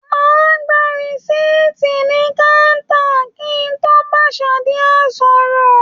Màá gba rìsíìtì ní káńtà kí n tó bá kaṣíà sọ̀rọ̀